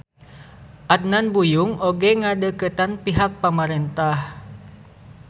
Adnan Buyung oge ngadeukeutan pihak pamarentah.